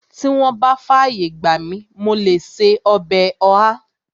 Tí wọ́n bá fàyè gbà mi, mo lè ṣe ọbẹ̀ ọ̀há